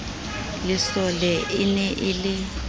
lesole e ne e le